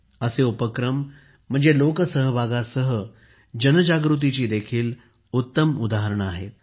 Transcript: असे उपक्रम म्हणजे लोकसहभागासह जनजागृतीची देखील उत्तम उदाहरणे आहेत